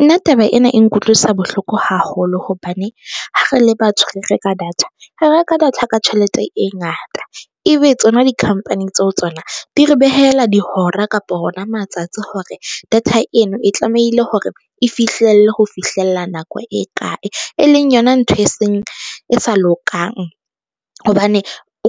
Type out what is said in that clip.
Nna taba ena e nkutlwisa bohloko haholo hobane, ha re le batho re reka data, re reka data ka tjhelete e ngata. Ebe tsona di-company tseo tsona di re behela dihora kapa hona matsatsi hore data eno e tlamehile hore e fihlelle ho fihlella nako e kae, e leng yona ntho e seng e sa lokang hobane